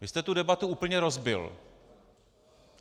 Vy jste tu debatu úplně rozbil.